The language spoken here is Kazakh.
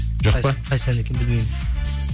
жоқ па қайсы ән екен білмеймін